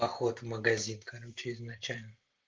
поход в магазин короче изначально